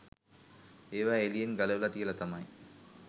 ඒවා එළියෙන් ගලවල තියල තමයි